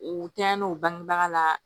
U tɛyɛn'o bangebaga la